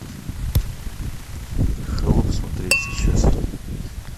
холоп смотреть сейчас